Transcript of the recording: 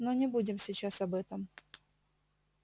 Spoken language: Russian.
но не будем сейчас об этом